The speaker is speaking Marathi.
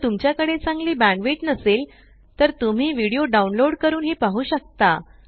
जर तुमच्या कडे चांगली बॅण्डविड्थ नसेल तर तुम्ही व्हिडिओ डाउनलोड करूनही पाहु शकता